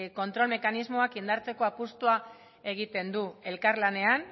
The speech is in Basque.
kontrol mekanismoak indartzeko apustua egiten du elkarlanean